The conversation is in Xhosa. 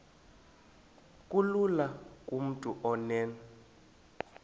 kulula kumntu onen